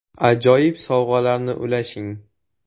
Ajoyib sovg‘alarni ulashing!